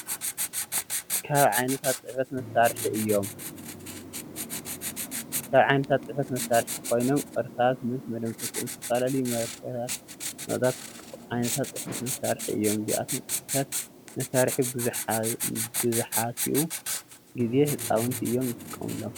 ካብ ዓይነታት ፅሕፈት መሳርሒ ኮይኖም ቅርሳስ ምስ መደምሲሶኦም ዝተፈላለዩ ማርከራት ፣ መቀሳት ዓይነታት ፅሕፈት መሳሪሒ እዩም ። እዚኣቶም ፅሕፈት መሳሪሒ ብዛሕቲኡ ግዜ ህፃውቲ እዮም ዝጥቀምለም።